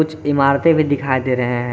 कुछ इमारते भी दिखाई दे रहे हैं।